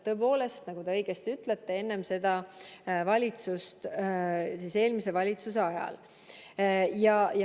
Tõepoolest, nagu te õigesti ütlete, enne seda valitsust, eelmise valitsuse ajal.